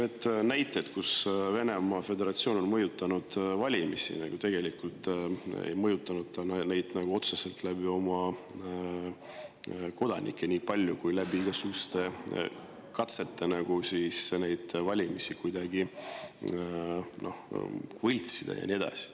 Kui tuua näiteid, kuidas Venemaa Föderatsioon on mõjutanud valimisi, siis ta tegelikult ei mõjutanud neid otseselt niipalju oma kodanike kaudu, kuivõrd läbi igasuguste katsete valimisi kuidagi võltsida ja nii edasi.